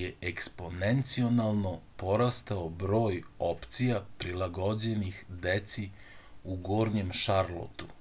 je eksponencijalno porastao broj opcija prilagođenih deci u gornjem šarlotu